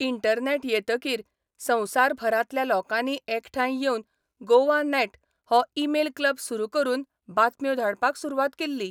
Internet येतकीर संवसारभरांतल्या लोकांनी एकठांय येवन 'गोवानॅट 'हो ई मेल क्लब सुरू करून बातम्यो धाडपाक सुरवात केल्ली.